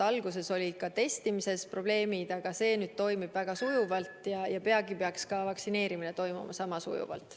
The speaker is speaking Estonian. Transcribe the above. Alguses olid ju ka testimisega probleemid, aga see toimib väga sujuvalt ja peagi peaks ka vaktsineerimine minema sama sujuvalt.